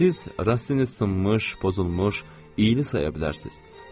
Siz rəssamı sınmış, pozulmuş, iyli saya bilərsiniz.